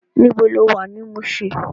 Nibó ló wá ni Mushin?